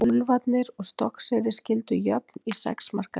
Úlfarnir og Stokkseyri skildu jöfn í sex marka leik.